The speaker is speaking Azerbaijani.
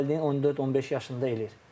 İndi valideyn 14-15 yaşında eləyir.